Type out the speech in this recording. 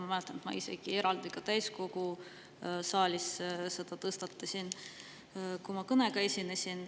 Ma mäletan, et tõstatasin selle teema isegi täiskogu saalis, kui ma kõnega esinesin.